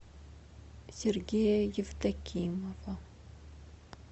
сергея евдокимова